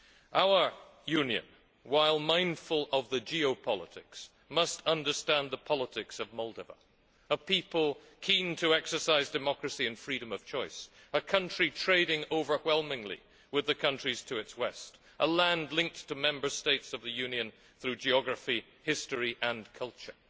Our Union, while mindful of the geopolitics, must understand the politics of Moldova, a people keen to exercise democracy and freedom of choice, a country trading overwhelmingly with the countries to its west, a land linked to Member States of the Union through geography, history and culture.